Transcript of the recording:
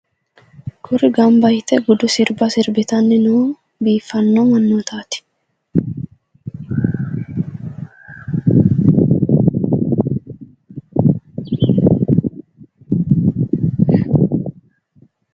kuri gamba yite sirba sirbitanni noo biiffanno mannootaati.